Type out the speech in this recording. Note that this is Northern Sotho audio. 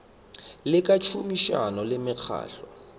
le ka tšhomišano le mekgatlo